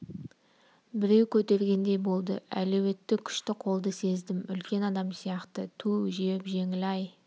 біреу көтергендей болды әлуетті күшті қолды сездім үлкен адам сияқты түу жеп-жеңілі-ай